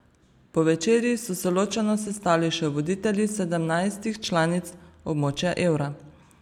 Po večerji so se ločeno sestali še voditelji sedemnajstih članic območja evra.